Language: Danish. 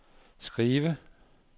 skive